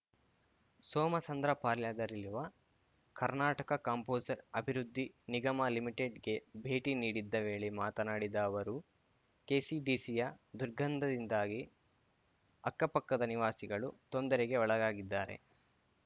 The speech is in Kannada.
ಸೋಮಸಂದ್ರಪಾಳ್ಯದಲ್ಲಿರುವ ಕರ್ನಾಟಕ ಕಾಂಪೋಸರ್ ಅಭಿವೃದ್ಧಿ ನಿಗಮ ಲಿಮಿಟೆಡ್‌ಗೆ ಭೇಟಿ ನೀಡಿದ್ದ ವೇಳೆ ಮಾತನಾಡಿದ ಅವರು ಕೆಸಿಡಿಸಿಯ ದುರ್ಗಂದದಿಂದಾಗಿ ಅಕ್ಕಪಕ್ಕದ ನಿವಾಸಿಗಳು ತೊಂದರೆಗೆ ಒಳಗಾಗಿದ್ದಾರೆ